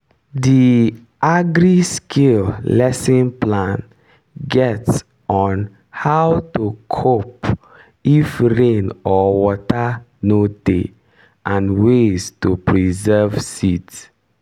the agri-skill lesson plan get on how to cope if rain or water no dey and ways to preserve seeds